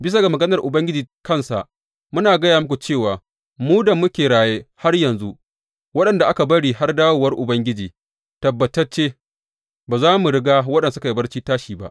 Bisa ga maganar Ubangiji kansa, muna gaya muku cewa mu da muke raye har yanzu, waɗanda aka bari har dawowar Ubangiji, tabbatacce ba za mu riga waɗanda suka yi barci tashi ba.